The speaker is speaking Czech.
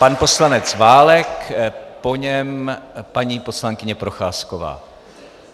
Pan poslanec Válek, po něm paní poslankyně Procházková.